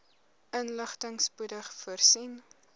inligting spoedig voorsien